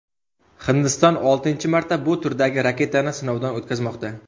Hindiston oltinchi marta bu turdagi raketani sinovdan o‘tkazmoqda.